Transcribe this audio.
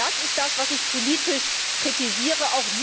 Und das ist es, was ich politisch kritisiere.